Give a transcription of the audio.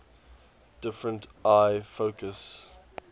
different eye focus